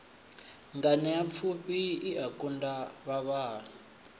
nganeapfufhi i a kunga vhavhali